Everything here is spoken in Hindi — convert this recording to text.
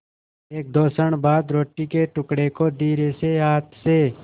एकदो क्षण बाद रोटी के टुकड़े को धीरेसे हाथ से